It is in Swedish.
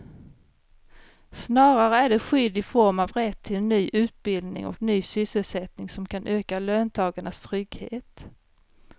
Snarare är det skydd i form av rätt till ny utbildning och ny sysselsättning som kan öka löntagarnas trygghet.